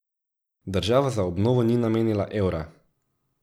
Država za obnovo ni namenila evra.